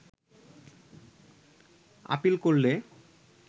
appeal করলে